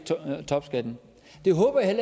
topskatten det håber jeg